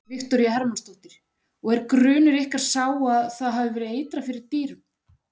Viktoría Hermannsdóttir: Og er grunur ykkar sá að það hafi verið eitrað fyrir dýrum?